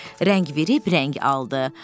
Rəng verib, rəng aldı.